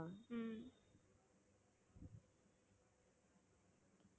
உம்